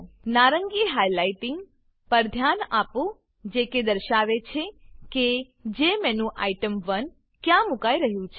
નારંગી હાઈલાઈટીંગ પર ધ્યાન આપો જે કે દર્શાવે છે કે જેમેન્યુટેમ1 ક્યાં મુકાઈ રહ્યું છે